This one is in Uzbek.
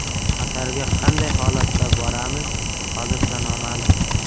Qatarga qanday holatda boramiz, hozircha noma’lum.